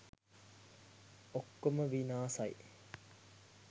ඔක්කොම විනාසයි.